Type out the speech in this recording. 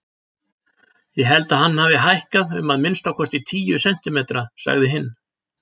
Ég held að hann hafi hækkað um að minnstakosti tíu sentimetra, sagði hinn.